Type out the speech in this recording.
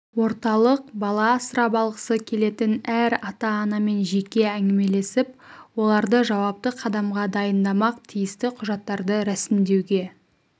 орталық бала асырап алғысы келетін әр ата-анамен жеке әңгімелесіп оларды жауапты қадамға дайындамақ тиісті құжаттарды рәсімдеуге